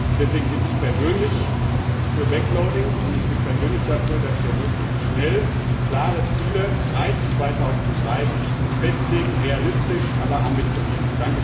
Deswegen bin ich persönlich für backloading, und ich bin persönlich dafür, dass wir möglichst schnell drei klare Ziele für 2030 festlegen, realistisch aber ambitioniert.